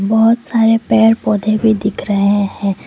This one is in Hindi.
बहुत सारे पेड़ पौधे भी दिख रहे हैं।